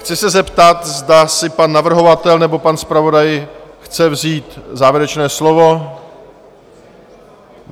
Chci se zeptat, zda si pan navrhovatel či pan zpravodaj chce vzít závěrečné slovo?